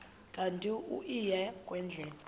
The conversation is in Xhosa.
kanti uia kwendela